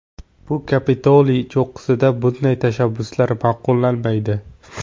Bu Kapitoliy cho‘qqisida bunday tashabbuslar ma’qullanmaydi.